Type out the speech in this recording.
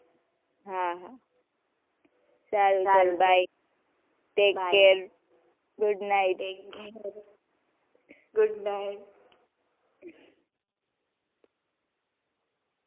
હાં હાં સારું સારું bye take care good night good night